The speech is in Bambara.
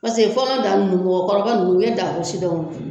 fɔlɔ da nunnu mɔkɔkɔrɔba nunnu u ye dako sidɔn.